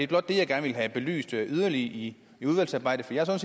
blot det jeg gerne vil have belyst yderligere i udvalgsarbejdet for jeg er